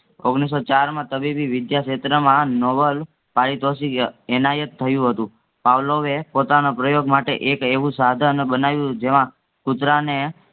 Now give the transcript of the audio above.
ઓગણીસસો ચારમાં વિદ્યાક્ષેત્રમાં નોવલ પારિતોષિક ય એનાયત થયું હતું. પાવલોએ પોતાના પ્રયોગ માટે એક એવું સાધન બનાવ્યું જેમાં કૂતરાને